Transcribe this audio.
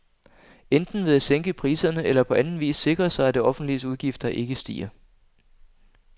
Enten ved at sænke priserne eller på anden vis sikre sig, at det offentliges udgifter ikke stiger.